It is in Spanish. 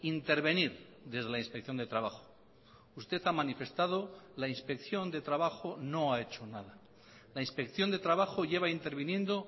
intervenir desde la inspección de trabajo usted ha manifestado la inspección de trabajo no ha hecho nada la inspección de trabajo lleva interviniendo